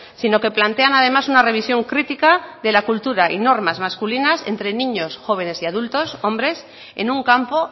sino que plantean además una revisión crítica de la cultura y normas masculinas entre niños jóvenes y adultos hombres en un campo